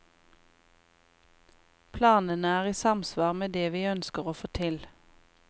Planene er i samsvar med det vi ønsker å få til.